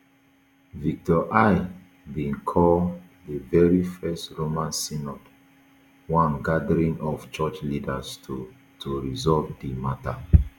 victor i bin call di very first roman synod one gathering of church leaders to to resolve di mata